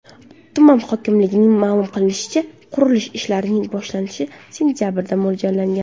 Tuman hokimligining ma’lum qilishicha, qurilish ishlarining boshlanishi sentabrga mo‘ljallangan.